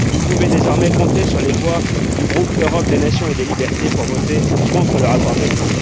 Vous pouvez désormais compter sur les voix du groupe Europe des nations et des libertés pour voter contre le rapport Belet.